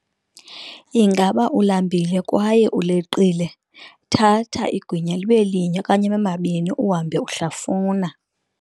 Ingaba ulambile kwaye uleqile, thatha igwinya libe linye okanye abe mabini uhambe uhlafuna.